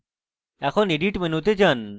এখন edit মেনুতে যান